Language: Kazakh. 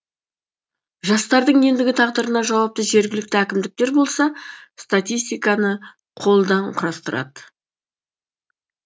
жастардың ендігі тағдырына жауапты жергілікті әкімдіктер болса статистиканы қолдан құрастырады